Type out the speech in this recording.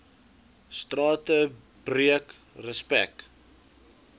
strate breek respek